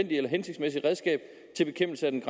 eller hensigtsmæssigt redskab til bekæmpelse af den